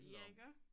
Ja iggå?